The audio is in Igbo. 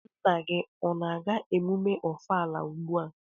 Nna gi a-na aga emume Ọfala ugbua?